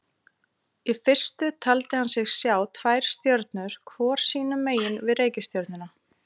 Í fyrstu taldi hann sig sjá tvær stjörnur hvor sínu megin við reikistjörnuna.